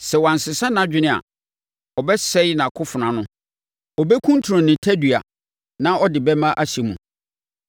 Sɛ wansesa nʼadwene a, ɔbɛse nʼakofena ano; ɔbɛkuntunu ne tadua na ɔde bɛmma ahyɛ mu.